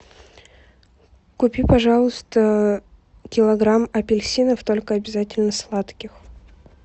купи пожалуйста килограмм апельсинов только обязательно сладких